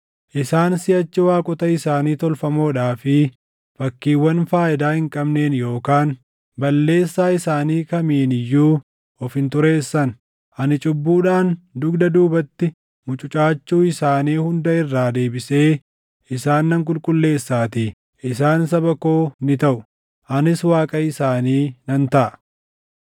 Isaan siʼachi waaqota isaanii tolfamoodhaa fi fakkiiwwan faayidaa hin qabneen yookaan balleessaa isaanii kamiin iyyuu of hin xureessan; ani cubbuudhaan dugda duubatti mucucaachuu isaanii hunda irraa deebisee isaan nan qulqulleessaatii. Isaan saba koo ni taʼu; anis Waaqa isaanii nan taʼa.